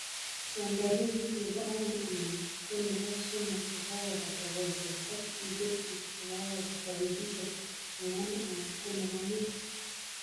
Sember wikiit nebo oeng anan ko nebo somok kokakobata kolset ak iketchi kokakobata wikishek ang'wanu anan ko muut